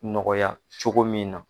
Nɔgɔya cogo min na